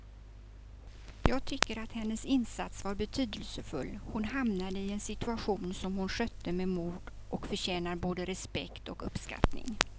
Jag tycker att hennes insats var betydelsefull, hon hamnade i en situation som hon skötte med mod och förtjänar både respekt och uppskattning.